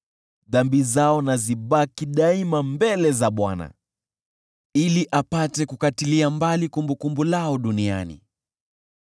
Dhambi zao na zibaki daima mbele za Bwana , ili apate kukatilia mbali kumbukumbu lao duniani.